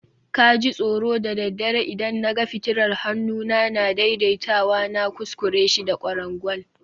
ka ji tsoro da daddare idan na ga fitilar hannuna na daidaitawa, na kuskure shi da kwarangwal